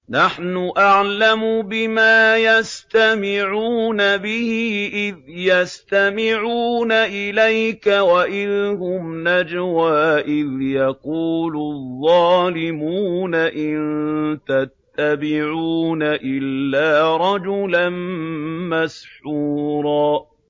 نَّحْنُ أَعْلَمُ بِمَا يَسْتَمِعُونَ بِهِ إِذْ يَسْتَمِعُونَ إِلَيْكَ وَإِذْ هُمْ نَجْوَىٰ إِذْ يَقُولُ الظَّالِمُونَ إِن تَتَّبِعُونَ إِلَّا رَجُلًا مَّسْحُورًا